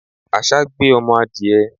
Àṣá gbé ọmọ adìẹ.